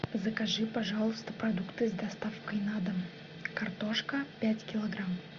закажи пожалуйста продукты с доставкой на дом картошка пять килограмм